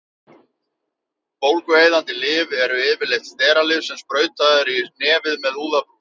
Bólgueyðandi lyf eru yfirleitt steralyf sem sprautað er í nefið með úðabrúsum.